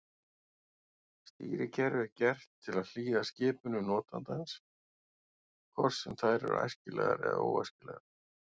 Stýrikerfið er gert til að hlýða skipunum notandans hvort sem þær eru æskilegar eða óæskilegar.